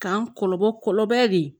K'an kɔlɔbɔ kɔlɔlɔ de ye